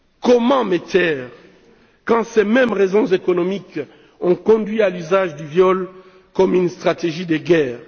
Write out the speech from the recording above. Comment me taire quand ces mêmes raisons économiques ont conduit à l'usage du viol comme une stratégie de guerre?